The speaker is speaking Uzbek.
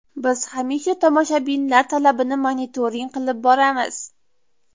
Biz hamisha tomoshabinlar talabini monitoring qilib boramiz.